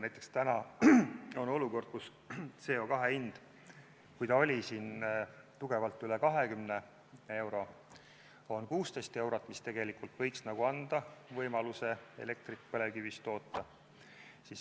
Näiteks, täna on olukord, kus CO2 hind, mis oli tugevalt üle 20 euro, on 16 eurot, mis võiks nagu anda võimaluse elektrit põlevkivist toota.